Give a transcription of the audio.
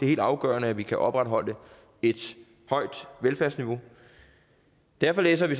helt afgørende at vi kan opretholde et højt velfærdsniveau derfor læser vi